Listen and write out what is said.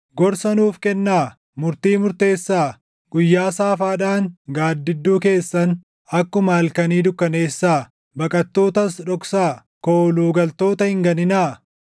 “Gorsa nuuf kennaa; murtii murteessaa. Guyyaa saafaadhaan gaaddidduu keessan akkuma halkanii dukkaneessaa. Baqattootas dhoksaa; kooluu galtoota hin ganinaa.